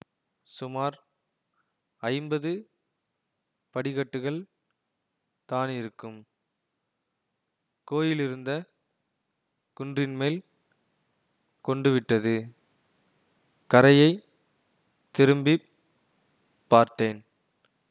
சுமார் ஐம்பது படிக்கட்டுகள் தானிருக்கும் கோயிலிருந்த குன்றின்மேல் கொண்டுவிட்டது கரையைத் திரும்பி பார்த்தேன்